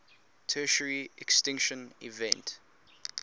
tertiary extinction event